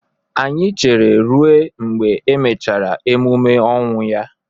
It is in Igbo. Anyị chere ruo mgbe e mechara emume ọnwụ ya